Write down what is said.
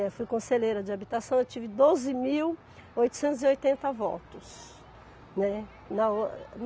Eu fui conselheira de habitação, eu tive doze mil oitocentos e oitenta votos, né na.